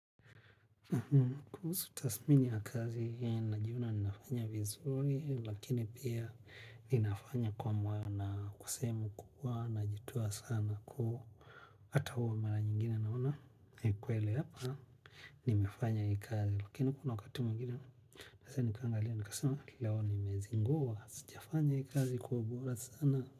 Kuhusu tasmini ya kazi, najiona ninafanya vizuri, lakini pia ninafanya kwa mwana kwasehemu, kubwa, najitua sana kuhu. Hata huwa mara nyingine naona, ni kweli hapa, nimefanya hii kazi. Lakini kuna wakati mwingine, sasa nikaangalia, nikasema, leo nimezingua, sijafanya hii kazi kwa kuobora sana.